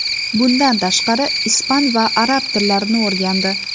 Bundan tashqari, ispan va arab tillarini o‘rgandi.